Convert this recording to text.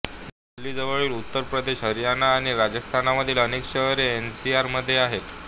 दिल्लीजवळील उत्तर प्रदेश हरियाणा आणि राजस्थानमधील अनेक शहरे एनसीआरमध्ये आहेत